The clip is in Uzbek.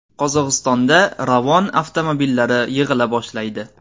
Qozog‘istonda Ravon avtomobillari yig‘ila boshlaydi.